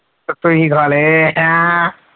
ਤਾਂ ਤੁਸੀਂ ਖਾ ਲਏ ਆ।